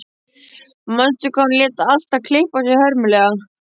Manstu hvað hún lét alltaf klippa sig hörmulega.